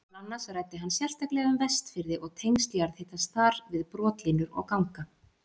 Meðal annars ræddi hann sérstaklega um Vestfirði og tengsl jarðhitans þar við brotlínur og ganga.